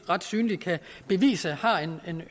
ret synligt kan bevise har en